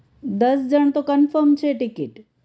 દસ જણ તો confirm છે ticket